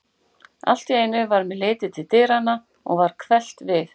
Allt í einu varð mér litið til dyranna og varð hverft við.